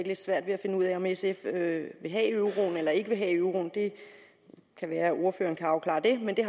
lidt svært ved at finde ud af om sf vil have euroen eller ikke vil have euroen det kan være at ordføreren kan afklare det men det